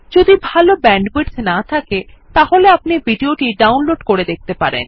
যদি ভাল ব্যান্ডউইডথ না থাকে তাহলে আপনি ভিডিও টি ডাউনলোড করে দেখতে পারেন